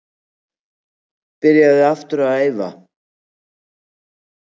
Byrjaður að æfa aftur.